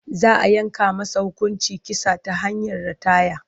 Za a yanke masa hukuncin kisa ta hanyar rataya.